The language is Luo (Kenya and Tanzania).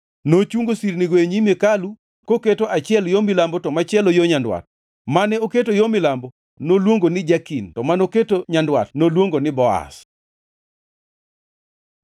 Nochungo sirnigo e nyim hekalu koketo achiel yo milambo to machielo yo nyandwat. Mane oketo yo milambo noluongo ni Jakin to manoketo nyandwat noluongo ni Boaz.